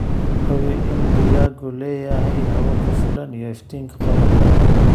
Hubi in digaaggu leeyahay hawo ku filan iyo iftiinka qorraxda.